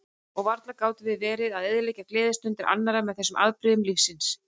Og varla gátum við verið að eyðileggja gleðistundir annarra með þessum afbrigðum lífsins.